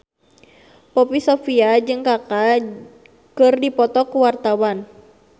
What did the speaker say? Poppy Sovia jeung Kaka keur dipoto ku wartawan